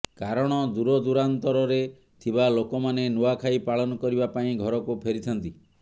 କାରଣ ଦୂରଦୂରାନ୍ତରରେ ଥିବା ଲୋକମାନେ ନୂଆଁଖାଇ ପାଳନ କରିବା ପାଇଁ ଘରକୁ ଫେରିଥାନ୍ତି